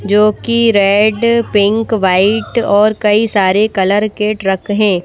जो कि red pink white और कई सारे कलर के ट्रक हैं।